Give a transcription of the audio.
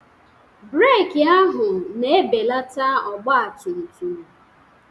Breeki ahụ na-ebelata ọgbatumtum.